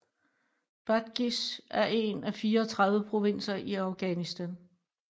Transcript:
Badghis er en af 34 provinser i Afghanistan